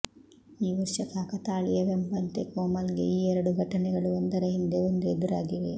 ಈ ವರ್ಷ ಕಾಕತಾಳೀಯವೆಂಬಂತೆ ಕೋಮಲ್ ಗೆ ಈ ಎರಡು ಘಟನೆಗಳು ಒಂದರ ಹಿಂದೆ ಒಂದು ಎದುರಾಗಿವೆ